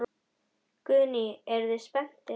Guðný: Eruð þið spenntir?